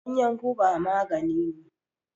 Ganyan guba maganine.